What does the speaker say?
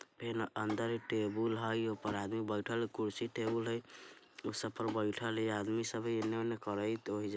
फेन अंदर टेबुल हय ऊप्पर आदमी बेठेल कुर्सी टेबुल हय उ सबपर बैठेल ए आदमी सब हय इन्ने-उन्ने करेत वही जा --